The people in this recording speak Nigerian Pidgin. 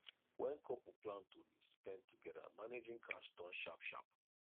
when couple plan to dey spend together managing cash turn sharp sharp